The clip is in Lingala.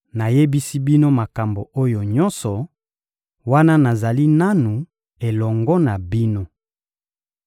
Nayebisi bino makambo oyo nyonso, wana nazali nanu elongo na bino.